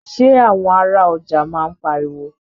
Ṣé àwọn ará ọjà máa ń pariwo.